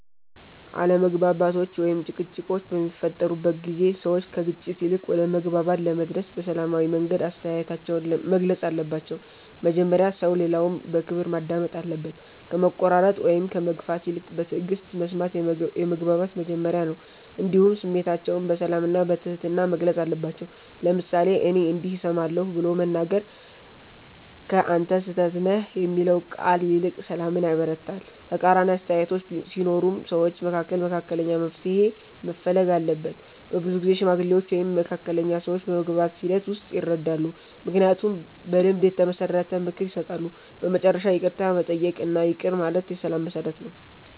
አለመግባባቶች ወይም ጭቅጭቆች በሚፈጠሩበት ጊዜ ሰዎች ከግጭት ይልቅ ወደ መግባባት ለመድረስ በሰላማዊ መንገድ አስተያየታቸውን መግለጽ አለባቸው። መጀመሪያ ሰው ሌላውን በክብር ማዳመጥ አለበት፣ ከመቆራረጥ ወይም ከመግፋት ይልቅ በትዕግስት መስማት የመግባባት መጀመሪያ ነው። እንዲሁም ስሜታቸውን በሰላም እና በትህትና መግለጽ አለባቸው፤ ለምሳሌ “እኔ እንዲህ እሰማለሁ” ብሎ መናገር ከ“አንተ ስህተት ነህ” የሚለው ቃል ይልቅ ሰላምን ያበረታታል። ተቃራኒ አስተያየቶች ሲኖሩም ሰዎች መካከል መካከለኛ መፍትሔ መፈለግ አለበት። በብዙ ጊዜ ሽማግሌዎች ወይም መካከለኛ ሰዎች በመግባባት ሂደት ውስጥ ይረዳሉ፣ ምክንያቱም በልምድ የተመሰረተ ምክር ይሰጣሉ። በመጨረሻ ይቅርታ መጠየቅ እና ይቅር ማለት የሰላም መሠረት ነው።